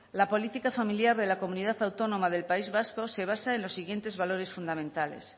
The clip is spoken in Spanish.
la política familiar de la comunidad autónoma del país vasco se basa en los siguientes valores fundamentales